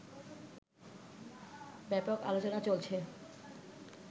ব্যাপক আলোচনা চলছে